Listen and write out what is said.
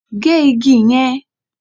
Gé igi yẹn!